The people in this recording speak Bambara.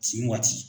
Tin waati